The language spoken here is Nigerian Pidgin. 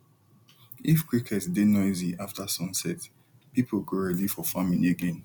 if cricket dey noisy after sunset people go ready for farming again